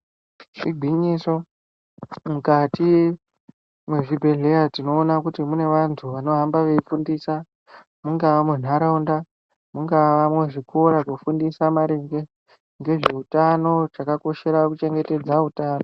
Igwinyiso mukati mwezvibhedhlera tinoona kuti mune vantu vanohamba veifundisa mungaa muntaraunda, mungaa muzvikora, kufundisa maringe nezveutano, chakakoshere kuchengetedze utano.